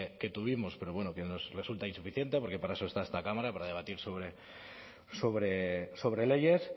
que tuvimos pero bueno que nos resulta insuficiente porque para eso está esta cámara para debatir sobre leyes